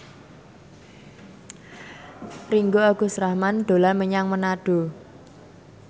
Ringgo Agus Rahman dolan menyang Manado